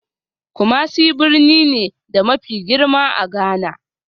Kumasi birni ne, da mafi girma a Ghana